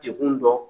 Degun dɔ